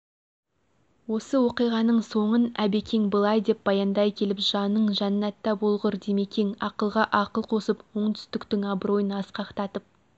осы оқиғаның соңын әбекең былай деп баяндай келіп жаның жәннәтта болғыр димекең ақылға ақыл қосып оңтүстіктің абыройын асқақтатып